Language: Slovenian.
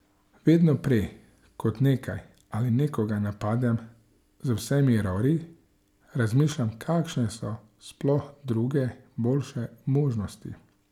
Vedno prej, kot nekaj ali nekoga napadem z vsemi rori, razmišljam kakšne so sploh druge, boljše možnosti.